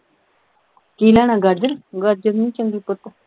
ਕੀ ਲੈਣਾ ਗਾਜਰ ਗਾਜਰ ਨਹੀਂ ਚੰਗੀ ਪੁੱਤ